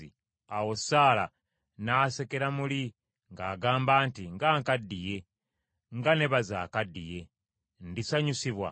Awo Saala n’asekera muli ng’agamba nti, “Nga nkaddiye, nga ne baze akaddiye, ndisanyusibwa?”